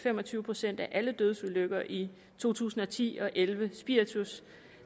fem og tyve procent af alle dødsulykker i to tusind og ti og elleve spiritus